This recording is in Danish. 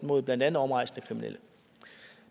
mod blandt andet omrejsende kriminelle